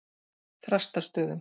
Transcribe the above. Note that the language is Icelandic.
Þrastarstöðum